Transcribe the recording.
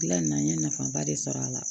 Gilan na n ye nafaba de sɔrɔ a la